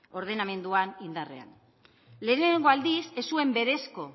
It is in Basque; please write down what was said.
ordenamenduan indarrean lehenengo aldiz ez zuen berezko